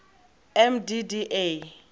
mdda